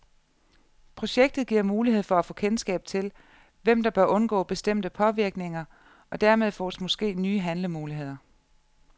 Projektet giver mulighed for at få kendskab til, hvem der bør undgå bestemte påvirkninger, og dermed fås måske nye handlemuligheder.